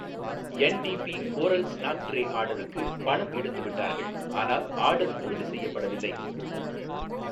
என் டி பி coral snack tray ஆர்டருக்கு பணம் எடுத்துவிட்டார்கள் ஆனால் ஆர்டர் உறுதி செய்யப்படவில்லை